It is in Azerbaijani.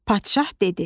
Padşah dedi.